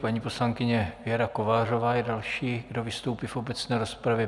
Paní poslankyně Věra Kovářová je další, kdo vystoupí v obecné rozpravě.